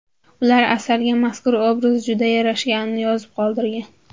Ular Asalga mazkur obraz juda yarashganini yozib qoldirgan.